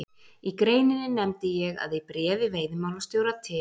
Í greininni nefndi ég að í bréfi veiðimálastjóra til